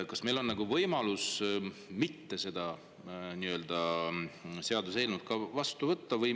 Kas meil on võimalik seda seaduseelnõu ka mitte vastu võtta?